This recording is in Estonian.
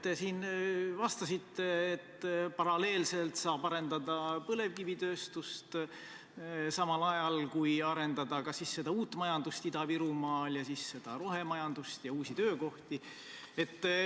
Te siin vastasite, et paralleelselt saab arendada nii põlevkivitööstust kui ka seda uut majandust Ida-Virumaal – no rohemajandust ja uusi töökohti.